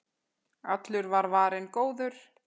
Allur var varinn góður.